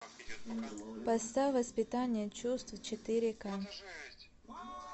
поставь воспитание чувств четыре ка